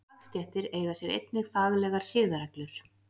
Fagstéttir eiga sér einnig faglegar siðareglur.